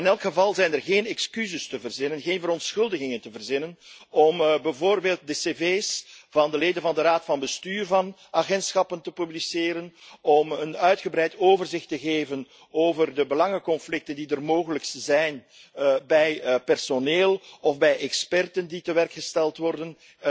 In elk geval zijn er geen excuses te verzinnen, geen verontschuldigingen te verzinnen om bijvoorbeeld de cv's van de leden van de raad van bestuur van agentschappen te publiceren, om een uitgebreid overzicht te geven over de belangenconflicten die mogelijk zijn bij personeel of bij experts die tewerkgesteld worden